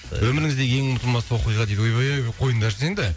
өміріңіздегі ең ұмытылмас оқиға дейді ойбай ай ойбай қойыңдаршы енді